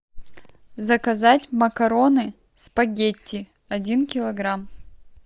заказать макароны спагетти один килограмм